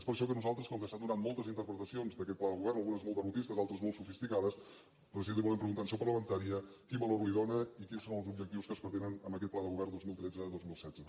és per això que nosaltres com que s’han donat moltes interpretacions d’aquest pla de govern algunes molt derrotistes altres molt sofisticades president li volem preguntar en el seu parlamentària quin valor li dóna i quins són els objectius que es pretenen amb aquest pla de govern dos mil tretze·dos mil setze